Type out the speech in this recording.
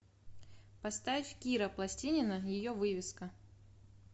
поставь кира пластинина ее вывеска